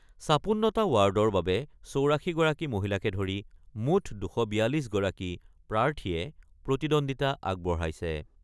৫৬টা ৱাৰ্ডৰ বাবে ৮৪ গৰাকী মহিলাকে ধৰি মুঠ ২৪২ গৰাকী প্ৰাৰ্থীয়ে প্ৰতিদ্বন্দ্বিতা আগবঢ়াইছে।